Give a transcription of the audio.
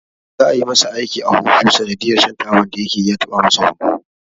Za'a yi masa aiki a huhu sanadiyar shan taban da yakeyi ya taba masa hunhu.